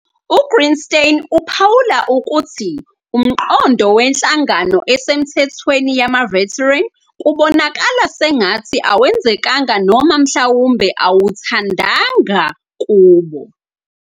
UGreenstein uphawula ukuthi umqondo wenhlangano esemthethweni yama-veteran kubonakala sengathi awenzekanga noma mhlawumbe awuthandanga kubo.